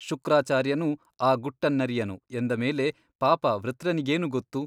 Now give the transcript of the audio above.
ಶುಕ್ರಾಚಾರ್ಯನೂ ಆ ಗುಟ್ಟನ್ನರಿಯನು ಎಂದ ಮೇಲೆ ಪಾಪಾ ವೃತ್ರನಿಗೇನು ಗೊತ್ತು ?